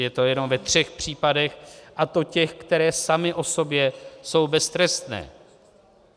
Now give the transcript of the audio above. Je to jenom ve třech případech, a to těch, které samy o sobě jsou beztrestné.